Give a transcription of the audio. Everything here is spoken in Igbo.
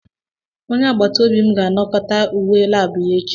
Onye agbata obi m ga-anakọta uwe lab ya echi.